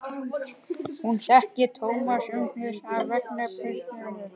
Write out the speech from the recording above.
Hún þekkti Thomas umsvifalaust af vangasvipnum.